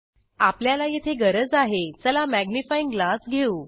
आपल्याला येथे गरज आहे चला मॅग्निफाइयिंग ग्लास घेऊ